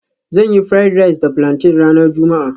Zan yi fried rice da plantain ranar juma'a